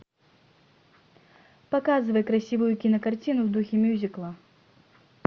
показывай красивую кинокартину в духе мюзикла